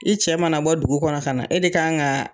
I cɛ mana bɔ dugu kɔnɔ ka na, e de ka kan ka